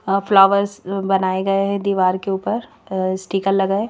अं flowers बनाए गए हैं दीवार के ऊपर स्टीकर लगा है।